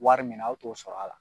Wari min na aw t'o sɔrɔ a la